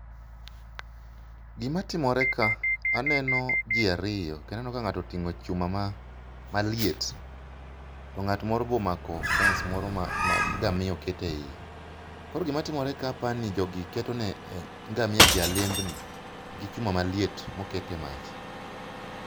Gimatimore ka, aneno ji ariyo kendo aneno ka ng'ato oting'o chuma maliet, to ng'at moro be omako fence moro ma ngamia oket e iye. Koro gimatimore ka apani jogi keto ne ngamiagi alembni gi chuma maliet moket e mach.